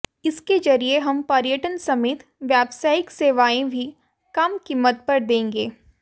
इसके जरिए हम पर्यटन समेत व्यावसायिक सेवाएं भी कम कीमत पर देंगे